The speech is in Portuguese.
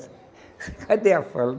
Cadê a fala?